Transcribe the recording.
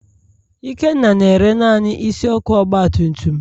Ikenna na-ere naanị isi ọkụ ọgbatumtum.